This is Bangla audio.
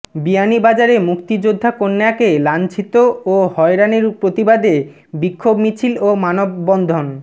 বিয়ানীবাজারে মুক্তিযোদ্ধা কন্যাকে লাঞ্ছিত ও হয়রানির প্রতিবাদে বিক্ষোভ মিছিল ও মানববন্ধন